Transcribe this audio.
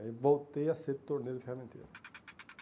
Aí voltei a ser torneio de ferramenteiro.